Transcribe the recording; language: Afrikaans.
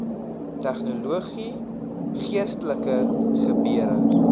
tegnologie geestelike gebeure